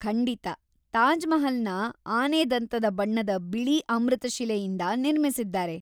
ಖಂಡಿತ. ತಾಜ್‌ ಮಹಲ್‌ನ ಆನೆದಂತದ ಬಣ್ಣದ ಬಿಳಿ ಅಮೃತಶಿಲೆಯಿಂದ ನಿರ್ಮಿಸಿದ್ದಾರೆ.